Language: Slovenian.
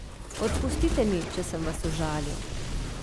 Odpustite mi, če sem vas užalil.